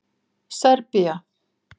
Serbía